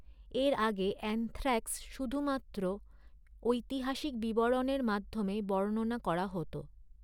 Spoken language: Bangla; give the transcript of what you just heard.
এর আগে অ্যানথ্রাক্স শুধুমাত্র ঐতিহাসিক বিবরণের মাধ্যমে বর্ণনা করা হত।